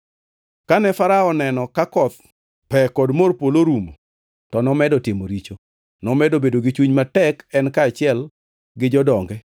Kane Farao oneno ka koth, pe gi mor polo orumo, to nomedo timo richo. Nomedo bedo gi chuny matek en kaachiel gi jodonge.